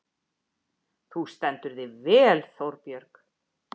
Þú stendur þig vel, Þórbjörg!